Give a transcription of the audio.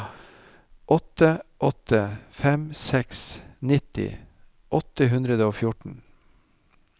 åtte åtte fem seks nitti åtte hundre og fjorten